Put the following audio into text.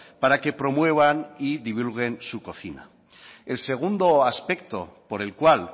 para que promuevan y divulguen su cocina el segundo aspecto por el cual